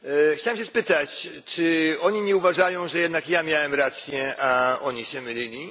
Chciałbym się spytać, czy oni nie uważają, że jednak ja miałem rację, a oni się mylili?